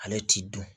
Ale t'i dun